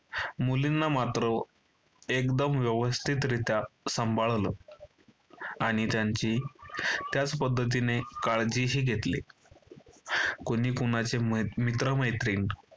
मुलींना मात्र एकदम व्यवस्थितरित्या सांभाळलं. आणि त्यांची त्याच पद्धतीने काळजीही घेतली. कोणी कोणाचे मित्र-मैत्रिण